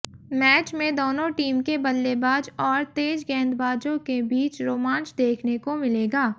match में दोनों team के बल्लेबाज और तेज गेंदबाजों के बीच रोमांच देखने को मिलेगा